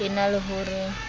e na le ho re